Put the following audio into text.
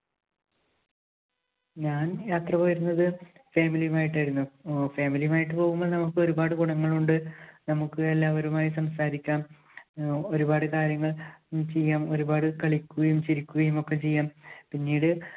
ഞാൻ യാത്ര പോയിരുന്നത് family യുമായിട്ടായിരുന്നു. ഹും family യുമായിട്ട് പോകുമ്പോൾ നമുക്ക് ഒരുപാട് ഗുണങ്ങൾ ഉണ്ട്. നമുക്ക് എല്ലാവരുമായി സംസാരിക്കാം. ആഹ് ഒരുപാട് കാര്യങ്ങൾ ഉം ചെയ്യാം, ഒരുപാട് കളിക്കുകയും ചിരിക്കുകയും ഒക്കെ ചെയ്യാം. പിന്നീട്